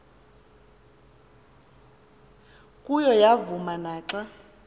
kuyo yavuma naxa